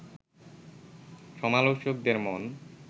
সমালোচকদের মন